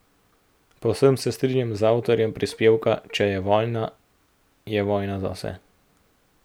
Povsem se strinjam z avtorjem prispevka Če je vojna, je vojna za vse.